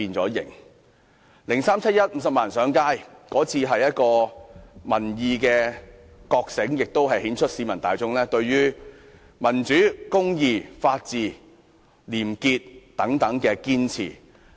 2003年的七一遊行有50萬人上街，那次是民意的覺醒，亦顯示了市民大眾對於民主、公義、法治、廉潔的堅持。